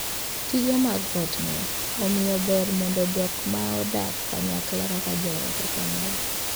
Tije mag ot ng'eny, omiyo ber mondo jok ma odak kanyakla kaka joot okonyre.